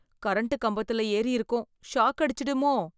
Current கம்பத்துல ஏறி இருக்கோம், ஷாக் அடிச்சிடுமோ?